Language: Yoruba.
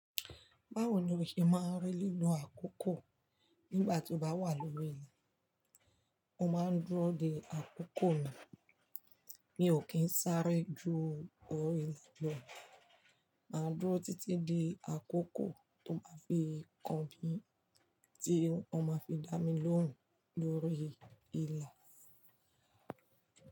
Báwo ni o ṣe máa ń rí nínú àkókò nígbàtí o bá wà lórí ilà? Mo máa ń dúró de àkókò mi, mi ò kí n sáré ju orí ilẹ̀ lọ. Mà á dúró títí di àkókò tó máa fi kàn mí ti wọ́n ma fi dá mi lóhùn lórí ila.